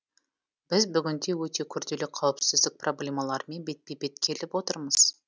біз бүгінде өте күрделі қауіпсіздік проблемаларымен бетпе бет келіп отырмыз